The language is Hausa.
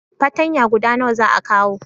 patanya guda nawa za a kawo?